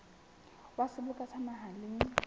wa seboka sa naha le